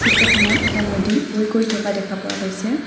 ফটোখনত এটা নদী বৈ গৈ থকা দেখা পোৱা গৈছে।